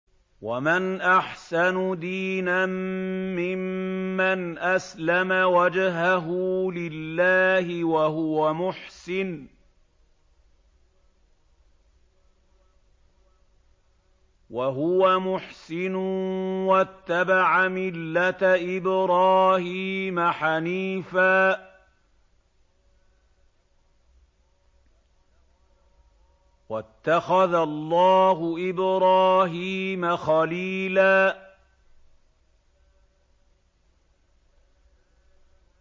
وَمَنْ أَحْسَنُ دِينًا مِّمَّنْ أَسْلَمَ وَجْهَهُ لِلَّهِ وَهُوَ مُحْسِنٌ وَاتَّبَعَ مِلَّةَ إِبْرَاهِيمَ حَنِيفًا ۗ وَاتَّخَذَ اللَّهُ إِبْرَاهِيمَ خَلِيلًا